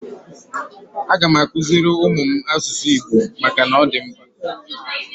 Aga m akuziri ụmụ m asụsụ Igbo maka na ọ dị mkpa.